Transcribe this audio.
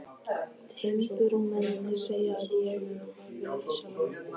Timburmennirnir, sagði ég við sjálfan mig.